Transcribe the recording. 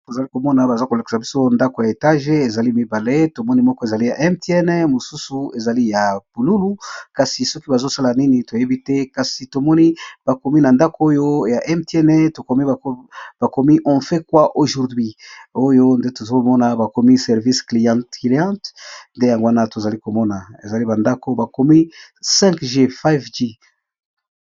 Awa tozali komona baza ko lekisa biso ndako ya etage ezali mibale tomoni moko ezali ya mtn mosusu ezali ya bululu kasi soki bazo sala nini toyebi te, kasi tomoni bakomi na ndako oyo ya mtn ba komi on fait quoi aujourd'hui oyo nde tozomona bakomi service client cliente nde yango wana tozali komona ezali ba ndako bakomi 5g5g.